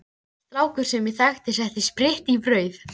Strákur sem ég þekki setti spritt í brauð.